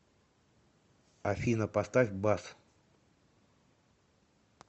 афина поставь бас